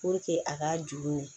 a ka jurun